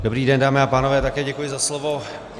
Dobrý den, dámy a pánové, také děkuji za slovo.